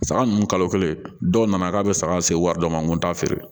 Saga ninnu kalo kelen dɔw nana k'a bɛ saga se wari dɔ ma n ko t'a feere